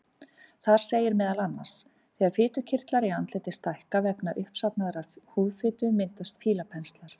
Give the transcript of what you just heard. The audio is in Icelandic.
Þar segir meðal annars: Þegar fitukirtlar í andliti stækka vegna uppsafnaðrar húðfitu myndast fílapenslar.